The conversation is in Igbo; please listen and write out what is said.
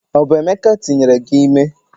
o bu emeka tinyere gi ime?